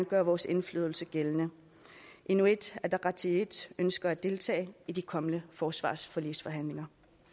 gøre vores indflydelse gældende inuit ataqatigiit ønsker at deltage i de kommende forsvarsforligsforhandlinger